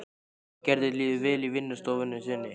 En Gerði líður vel í vinnustofunni sinni.